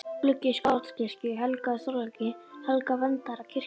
Steindur gluggi í Skálholtskirkju, helgaður Þorláki helga, verndara kirkjunnar.